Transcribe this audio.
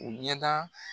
U ɲɛda